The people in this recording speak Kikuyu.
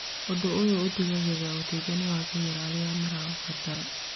Ũndũ ũyũ ũtigagĩrĩra ũteithio nĩ wakinyĩra arĩa maraũbatara.